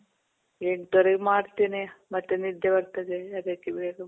ಎಂಟುವರಗೆ ಮಾಡ್ತಿನಿ. ಮತ್ ನಿದ್ದೆ ಬರ್ತದೆ ಅದಕ್ಕೆ ಬೇಗ .